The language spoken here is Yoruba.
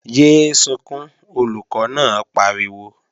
Yé é sunkún, Olùkọ́ náà pariwo!